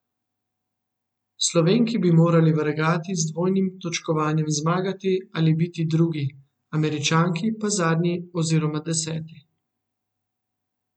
Slovenki bi morali v regati z dvojnim točkovanjem zmagati ali biti drugi, Američanki pa zadnji oziroma deseti.